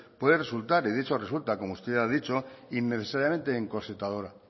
puede resultar y de hecho resulta como usted ya ha dicho innecesariamente encorsetadora